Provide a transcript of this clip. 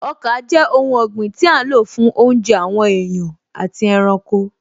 Ọkà jẹ́ oun ọ̀gbìn tí a n lò fún oúnjẹ àwọn èèyàn àti ẹranko